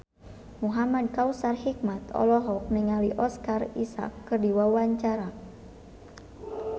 Muhamad Kautsar Hikmat olohok ningali Oscar Isaac keur diwawancara